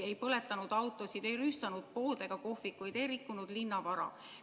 Ei põletanud keegi autosid, ei rüüstanud poode ega kohvikuid, ei rikkunud linnavara.